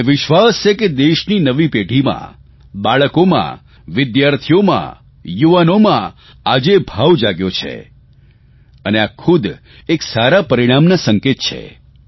મને વિશ્વાસ છે કે દેશની નવી પેઢીમાં બાળકોમાં વિદ્યાર્થીઓમાં યુવાનોમાં આ ભાવ જાગ્યો છે અને આ ખુદ એક સારા પરિણામના સંકેત છે